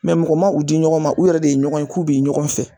Mɛ mɔgɔ ma u di ɲɔgɔn ma, u yɛrɛ de ye ɲɔgɔn ye k'u bɛ ɲɔgɔn fɛ.